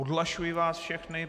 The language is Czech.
Odhlašuji vás všechny.